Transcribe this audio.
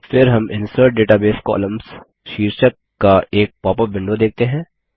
फिर हम insert database columns शीर्षक का एक पॉपअप विंडो देखते हैं